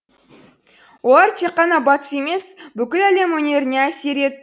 олар тек қана батыс емес бүкіл әлем өнеріне әсер